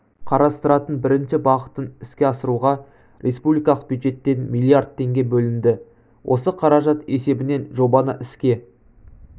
қарастыратын бірінші бағытын іске асыруға республикалық бюджеттен миллиард теңге бөлінді осы қаражат есебінен жобаны іске